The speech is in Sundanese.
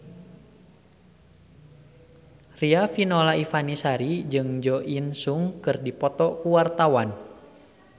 Riafinola Ifani Sari jeung Jo In Sung keur dipoto ku wartawan